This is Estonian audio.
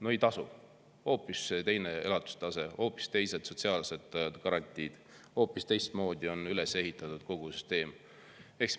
No ei tasu, seal on hoopis teine elatustase, hoopis teised sotsiaalsed garantiid, hoopis teistmoodi on kogu süsteem üles ehitatud.